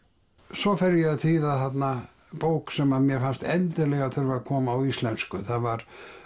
svo fer ég að þýða þarna bók sem að mér fannst endilega þurfa að koma á íslensku það var